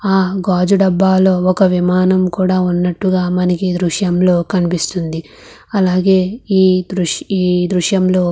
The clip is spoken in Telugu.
హా గాజు డబ్ల మనకు ఎ ద్రుశము లో మనకు కనిపెస్తునది. ఇక్కడ అలగేట్ ఎ జాగు ధబలో వక విమానము ఉనట్టు గ మనకు కనిపెస్తునది.